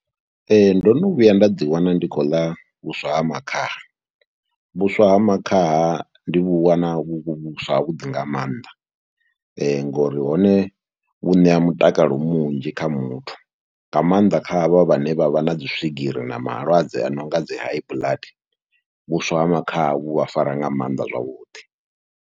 Ee, ndo no vhuya nda ḓiwana ndi khou ḽa vhuswa ha makhaha, vhuswa ha makhaha ndi vhu wana vhu vhuswa havhuḓi nga maanḓa ngori hone vhu ṋea mutakalo munzhi kha muthu, nga maanḓa kha havha vhane vha vha na dzi swigiri na malwadze a no nga dzi high blood, vhuswa ha makhaha vhu vha fara nga maanḓa zwavhuḓi.